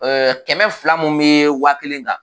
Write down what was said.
kɛmɛ fila mun bɛ waa kelen kan